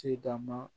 Ci dan ma